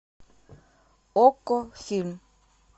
окко фильм